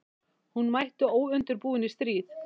Hún mætti óundirbúin í stríð.